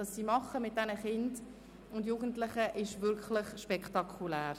Was sie mit diesen Kindern und Jugendlichen auf die Beine stellt, ist wirklich spektakulär.